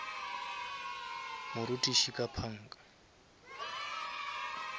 morutiši ka panga